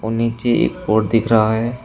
नीचे एक और दिख रहा है।